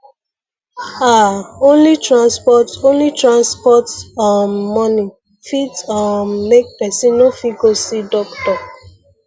ah only transport only transport um money fit um make person nofit go see doctor